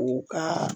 U ka